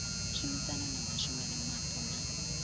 tshumisano na vhashumela vhapo na